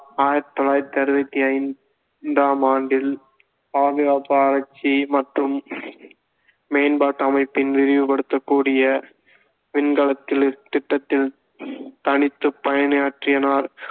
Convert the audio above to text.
ஆயிரத்தி தொள்ளாயிரத்தி அறுவத்தி ஐந்தாம் ஆண்டில் பாதுகாப்பு ஆராய்ச்சி மற்றும் மேம்பாட்டு அமைப்பின் விரிவுப்படுத்தக்கூடிய விண்கலத்தி~ திட்டத்தில் தனித்துப் பயணியாற்றினார்